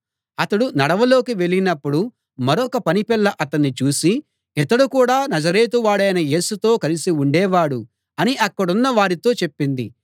అతడు నడవలోకి వెళ్ళినపుడు మరొక పని పిల్ల అతణ్ణి చూసి ఇతడు కూడా నజరేతు వాడైన యేసుతో కలిసి ఉండేవాడు అని అక్కడున్న వారితో చెప్పింది